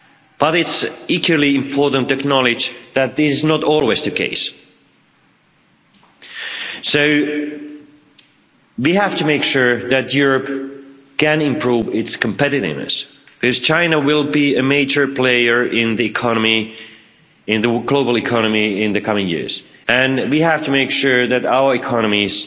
But it's equally important to acknowledge that this is not always the case. We have to make sure that Europe can improve its competitiveness, as China will be a major player in the global economy in the coming years, and we have to make sure that our economies